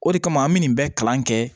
O de kama an bɛ nin bɛɛ kalan kɛ